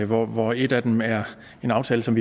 hvor hvor et af dem er en aftale som